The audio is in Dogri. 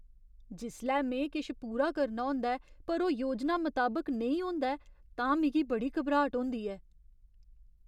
जिसलै में किश पूरा करना होंदा ऐ पर ओह् योजना मताबक नेईं होंदा ऐ तां मिगी बड़ी घबराट होंदी ऐ।